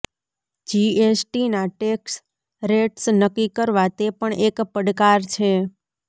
જીએસટીના tax rates નક્કી કરવા તે પણ એક પડકાર છે